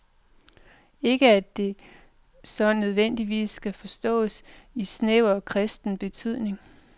Ikke at det så nødvendigvis skal forståes i snæver kristen betydning.